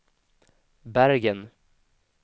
Bergen